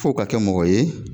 F'o ka kɛ mɔgɔ ye